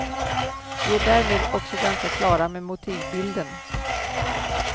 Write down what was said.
Vi är därmed också ganska klara med motivbilden.